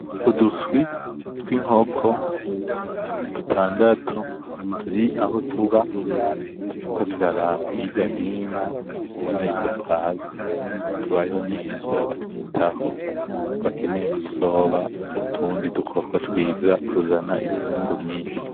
Uduswi twinkoko dutandatu turi aho tuba, turiko turaraba hirya nino ubona ko duhaze, tubayeho neza batwitaho bakeneye ko tuzoba utundi dukoko twiza tuzana umwimbu mwinshi.